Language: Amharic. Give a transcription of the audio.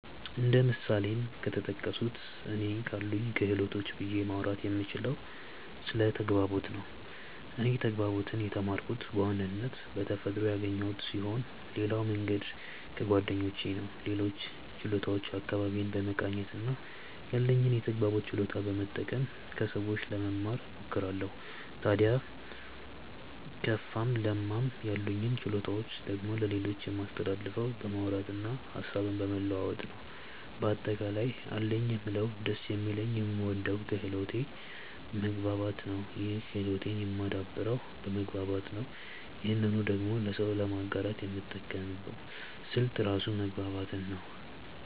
እንደ ምሳሌም ከተጠቀሱት እኔ ካሉኝ ክህሎቶች ብዬ ማውራት የምችለው ስለ ተግባቦት ነው። እኔ ተግባቦትን የተማርኩት በዋናነት በተፈጥሮ ያገኘሁት ስሆን ሌላው መንገድ ከጓደኞቼ ነው። ሌሎችን ችሎታዎች አካባቢዬን በመቃኘት እና ያለኝን የተግባቦት ችሎታ በመጠቀም ከሰዎች ለመማ እሞክራለው። ታድያ ከፋም ለማም ያሉኝን ችሎታዎች ደግሞ ለሌሎች የማስተላልፈው በማውራት እና ሀሳብን በመለዋወጥ ነው። በአጠቃላይ አለኝ የምለው ደስ የሚለኝ የምወደው ክህሎቴ መግባባት ነው ይህን ክህሎቴን የማደብረው በመግባባት ነው ይህንኑ ደግሞ ለሰው ለማጋራት የምጠቀመው ስልት ራሱ መግባባትን ነው።